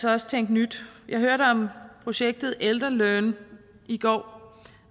også tænke nyt jeg hørte om projektet elderlearn i går